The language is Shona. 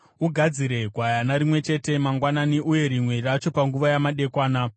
Ugadzire gwayana rimwe chete mangwanani uye rimwe racho panguva yamadekwana,